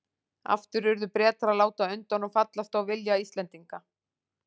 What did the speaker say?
Aftur urðu Bretar að láta undan og fallast á vilja Íslendinga.